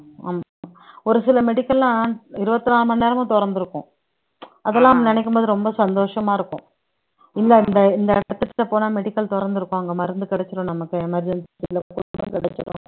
ஒரு சில medical எல்லாம் இருபத்தி நாலு மணி நேரமும் திறந்து இருக்கும் அதெல்லாம் நினைக்கும் போது ரொம்ப சந்தோஷமா இருக்கும் இல்லை இந்த இந்த போனா medical தொறந்திருக்கும் அங்க மருந்து கிடைச்சுரும் நமக்கு emergency கிடைக்கும்